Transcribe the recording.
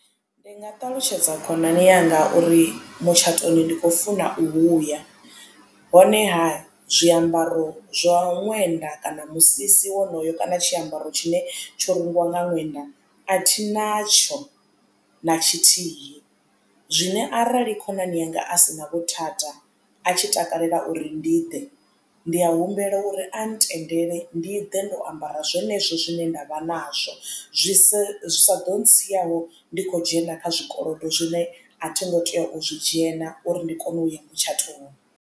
Ndi nga ṱalutshedza khonani yanga uri mutshatoni ndi khou funa u huya honeha zwiambaro zwa ṅwenda kana musisi wonoyo kana tshiambaro tshine tsho rungiwa nga ṅwenda a thi natsho na tshithihi. Zwine arali khonani yanga a sina vhuthada a tshi takalela uri ndi ḓe ndi a humbela uri a ntendele ndi ḓe ndo ambara zwenezwo zwine ndavha nazwo zwi sa saḓo tsiaho ndi kho dzhena kha zwikolodo zwine a thi ngo tea u zwi dzhena uri ndi kone uya mutshatoni.